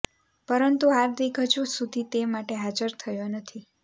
પરંતુ હાર્દિક હજુ સુધી તે માટે હાજર થયો નથી